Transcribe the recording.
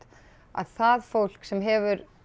að það fólk sem hefur